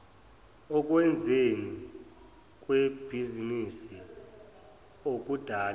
okwenzweni kwebhizinisi okudalwe